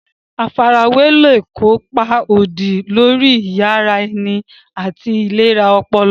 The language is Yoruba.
Àfarawé lè kó ipa òdì lórí iyì ara ẹni àti ìlera ọpọlọ.